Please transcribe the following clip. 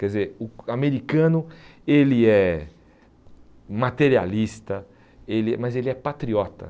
Quer dizer, o americano, ele é materialista, ele mas ele é patriota.